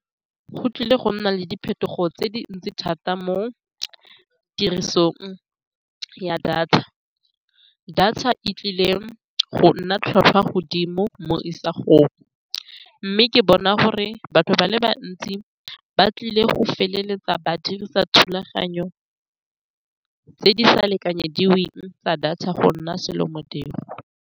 Go tlile go nna le diphetogo tse dintsi thata mo tirisong ya data. Data e tlile go nna tlhotlhwa godimo mo isagong, mme ke bona gore batho ba le bantsi ba tlile go feleletsa ba dirisa thulaganyo tse di sa lekanyediweng tsa data go nna selo modiro.